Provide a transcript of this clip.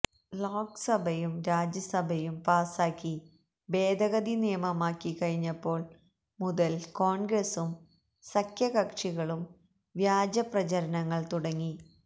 ലോക്സഭയും രാജ്യസഭയും പാസാക്കി ഭേദഗതി നിയമമായിക്കഴിഞ്ഞപ്പോള് മുതല് കോണ്ഗ്രസും സഖ്യകക്ഷികളും വ്യാജപ്രചരണങ്ങള് തുടങ്ങി